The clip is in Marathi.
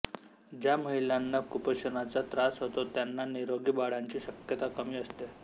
ज्या महिलांना कुपोषणाचा त्रास होतो त्यांना निरोगी बाळांची शक्यता कमी असते